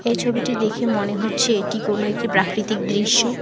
এই ছবিটি দেখে মনে হচ্ছে এটি কোনো একটি প্রাকৃতিক দৃশ্য।